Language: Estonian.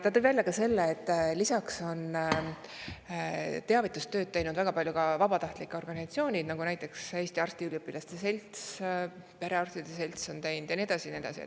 Ta tõi esile, et väga palju teavitustööd on teinud ka vabatahtlike organisatsioonid, nagu näiteks Eesti Arstiteadusüliõpilaste Selts, perearstide selts ja nii edasi ja nii edasi.